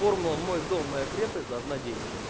формула мой дом моя крепость должна действовать